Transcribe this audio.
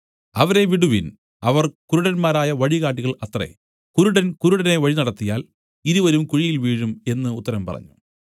അവരെ വിടുവിൻ അവർ കുരുടന്മാരായ വഴികാട്ടികൾ അത്രേ കുരുടൻ കുരുടനെ വഴിനടത്തിയാൽ ഇരുവരും കുഴിയിൽ വീഴും എന്നു ഉത്തരം പറഞ്ഞു